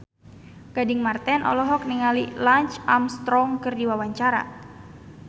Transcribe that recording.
Gading Marten olohok ningali Lance Armstrong keur diwawancara